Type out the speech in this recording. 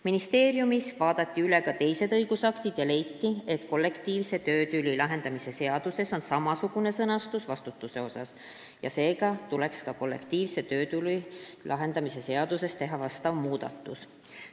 Ministeeriumis vaadati üle ka teised õigusaktid ja leiti, et kollektiivse töötüli lahendamise seaduses on samasugune vastutuse osa sõnastus ja seega tuleks ka kollektiivse töötüli lahendamise seaduses teha vastav muudatus.